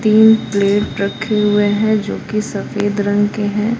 तीन प्लेट रखे हुए हैं जो की सफेद रंग के हैं।